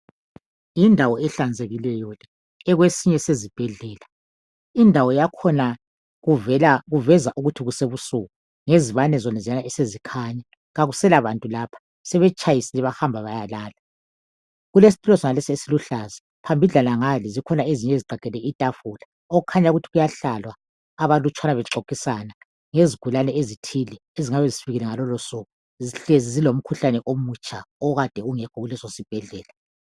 Yindawo ehlanzekileyo le ekwesinye sezibhedlela. Indawo yakhona kuveza ukuthi kusebusuku ngezibane zoneziyana esezikhanya. Kakusela bantu lapha sebetshayisile bahamba ukuyalala. Kulesitulo senales esiluhlaza, phambidlana ngale zikhona ezinye ezigqagqele itafula okukhanya ukuthi kuyahlalwa abalutshwane bexoxisana ngezigulane ezithile ezingabe zifikile ngalolosuku sihlezi zilomkhuhlane omutsha okade ungekho kulesi sibhedlela.